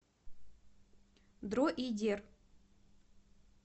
дроидер